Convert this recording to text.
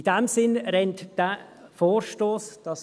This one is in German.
In diesem Sinne rennt dieser Vorstoss offene Türen ein.